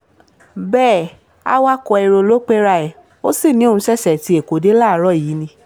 bẹ́ẹ̀ awakọ̀ èrò ló pera ẹ̀ ó sì ní òún ṣẹ̀ṣẹ̀ ti èkó dé láàárọ̀ yìí ni